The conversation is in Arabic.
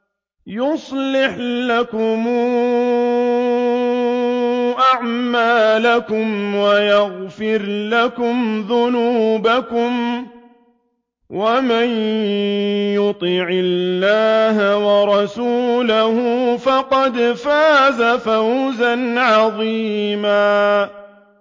يُصْلِحْ لَكُمْ أَعْمَالَكُمْ وَيَغْفِرْ لَكُمْ ذُنُوبَكُمْ ۗ وَمَن يُطِعِ اللَّهَ وَرَسُولَهُ فَقَدْ فَازَ فَوْزًا عَظِيمًا